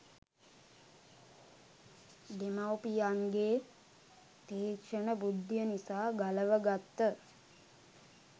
දෙමාපියන්ගේ තීක්ෂණ බුද්ධිය නිසා ගලව ගත්ත